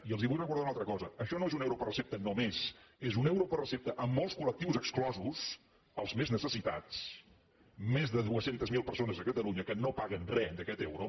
i els vull recordar una altra cosa això no és un euro per recepta només és un euro per recepta amb molts col·lectius exclosos els més necessitats més de dos cents miler persones a catalunya que no paguen re d’aquest euro